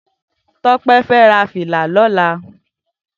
Tope fè rà filà lòlá